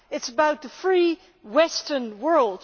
It is about the free Western world.